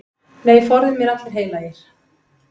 Nei, forði mér allir heilagir.